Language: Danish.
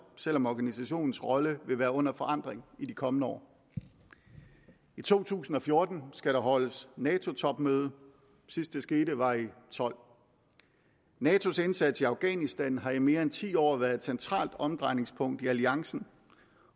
selv om organisationens rolle vil være under forandring i de kommende år i to tusind og fjorten skal der holdes nato topmøde sidst det skete var i og tolv natos indsats i afghanistan har i mere end ti år været et centralt omdrejningspunkt i alliancen